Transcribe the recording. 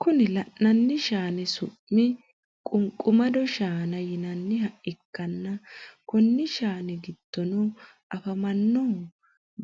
Kuni lanani shanni su’m quniqqumado shaana yinanaiha ikana konni shanni gidono afammanohu